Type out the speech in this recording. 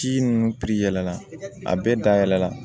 Ci ninnu yɛlɛla a bɛɛ dayɛlɛ la